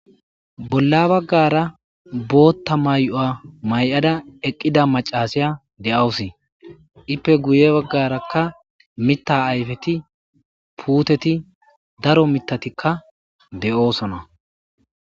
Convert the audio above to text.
Bolla baggara bootta may7o7a may7ada eqqida macasiya de7awusi ippe guye baggarakka mita ayfeti puuteti daro mitatikka de7oosona.